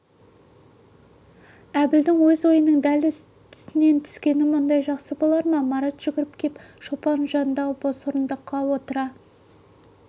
әбілдің өз ойының дәл үстінен түскені мұндай жақсы болар ма марат жүгіріп кеп шолпанның жанындағы бос орындыққа отыра